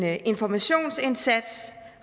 af en informationsindsats